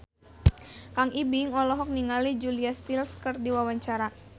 Kang Ibing olohok ningali Julia Stiles keur diwawancara